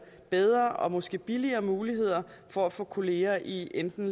bedre og måske billigere muligheder for at få kollegaer i enten